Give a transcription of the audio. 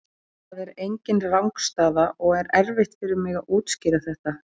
Það er engin rangstaða og er erfitt fyrir mig að útskýra þetta.